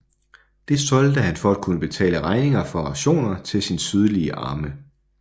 Det solgte han for at kunne betale regninger for rationer til sin sydlige arme